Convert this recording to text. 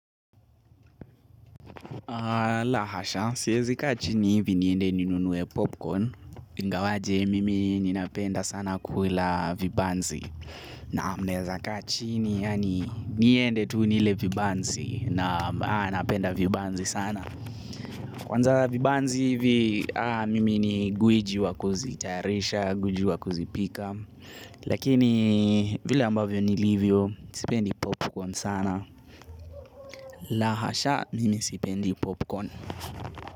La hasha, siwezi kaa chini hivi niende ninunue popcorn, ingawaje mimi ninapenda sana kula vibanzi na mnaeza kaa chini yani niende tu nile vibanzi, na napenda vibanzi sana. Kwanza vibanzi hivi mimi ni guiji wa kuzitayarisha, guiji wa kuzipika lakini vile ambavyo ni livyo, sipendi popcorn sana, la hasha, mimi sipendi popcorn.